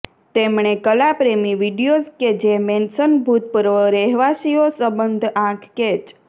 તેમણે કલાપ્રેમી વિડિઓઝ કે જે મેન્શન ભૂતપૂર્વ રહેવાસીઓ સંબંધ આંખ કેચ